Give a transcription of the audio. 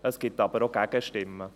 Es gibt aber auch Gegenstimmen.